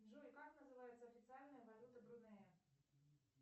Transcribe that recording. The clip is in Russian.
джой как называется официальная валюта брунея